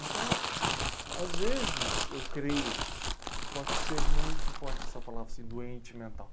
Então, às vezes, eu creio que pode ser muito forte essa palavra, assim, doente mental.